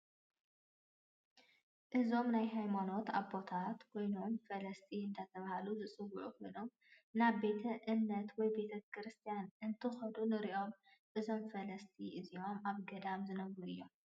አዞም ናይ ሃይማኖት አቦታት ኮይኖም ፈለሰት እዳተባሃሉ ዝጽዉኡ ኮይኖም ናቤተ እምነት ወይ ቤተክርስትያን እንትኸዱ ንርኢ እዞም ፈለስቲ እዚኦም ኣብ ገዳም ዝነብሩ እዮም።